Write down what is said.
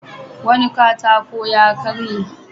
Wani katako ya karye.